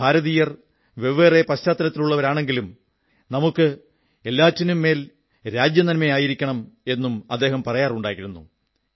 ഭാരതീയ വെവ്വേറെ പശ്ചാത്തലത്തിലുള്ളവരാണെങ്കിലും നമുക്ക് എല്ലാത്തിനുമുപരി രാജ്യനന്മ ആയിരിക്കണം എന്നും അദ്ദേഹം പറയാറുണ്ടായിരുന്നു